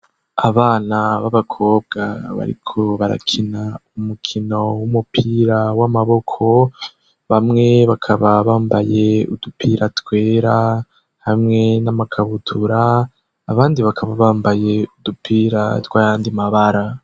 Abana b'abakobwa bariko barakina umukino w'umupira w'amaboko, bamwe bakaba bambaye udupira twera hamwe n'amakabutura, abandi bakaba bambaye udupira tw'ayandi mabara.